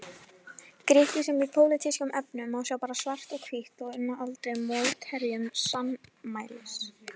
Grikki sem í pólitískum efnum sjá bara svart og hvítt og unna aldrei mótherjum sannmælis.